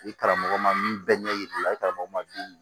I karamɔgɔ ma min bɛɛ ɲɛ yir'i la i karamɔgɔ ma